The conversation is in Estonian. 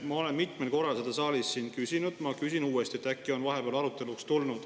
Ma olen mitmel korral seda siin saalis küsinud, ma küsin uuesti, äkki on vahepeal aruteluks tulnud.